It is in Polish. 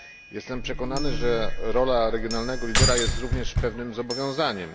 Jestem przekonany, że rola regionalnego lidera jest również pewnym zobowiązaniem.